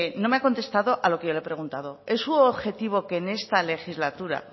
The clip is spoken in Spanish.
no me ha contestado a lo que yo le he preguntado es su objetivo que en esta legislatura